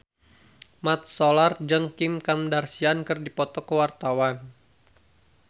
Mat Solar jeung Kim Kardashian keur dipoto ku wartawan